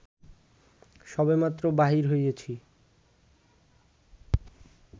সবেমাত্র বাহির হইয়াছি